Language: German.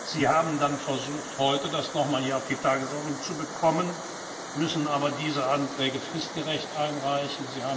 Sie haben dann versucht, das heute hier noch einmal auf die Tagesordnung zu bekommen, müssen aber diese Anträge fristgerecht einreichen.